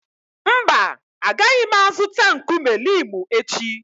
Mba, agaghị m azụta nkume limu echi.